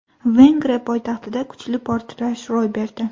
Vengriya poytaxtida kuchli portlash ro‘y berdi.